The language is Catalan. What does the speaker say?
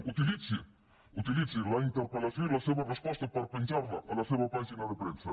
utilitzi la interpellació i la seva resposta per penjar la a la seva pàgina de premsa